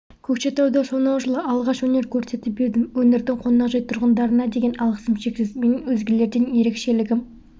көкшетауда сонау жылы алғаш өнер көрсетіп едім өңірдің қонақжай тұрғындарына деген алғысым шексіз менің өзгелерден ерекшелігім